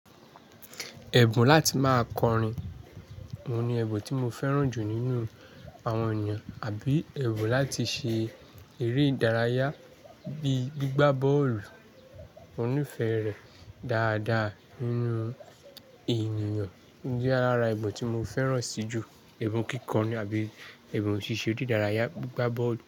Ẹ̀bùn láti máa kọrin, òun ni ẹ̀bùn tí mo fẹ́ràn jù nínú àwọn ènìyàn àbí èbùn láti ṣe eré ìdárayá bíi gbígbá bọ́ọ̀lù. Mo nífẹ̀ rẹ̀ dáadáa nínú ènìyàn. Ó jẹ́ ara ẹ̀bùn tí mo fẹ́ràn sí jù. Ẹ̀bùn kíkọ ní àbí ẹ̀bùn ṣíṣe dìdárayá gbígbá bọ́ọ̀lù.